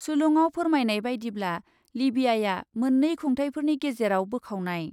सुलुङाव फोरमायनाय बायदिब्ला, लिबियाआ मोन्नै खुंथाइफोरनि गेजेराव बोखावनाय।